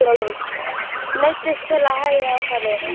Neyddist til að hægja á ferðinni.